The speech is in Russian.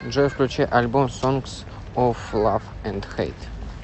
джой включи альбом сонгс оф лав энд хэйт